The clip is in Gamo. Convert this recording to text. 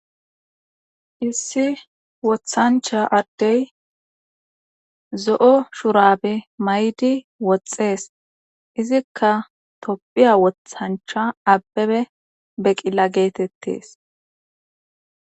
Issi wothancha addey zo7o shurabe maydi woxxees izikka toppiya wothancha abbebe beqilla geetettes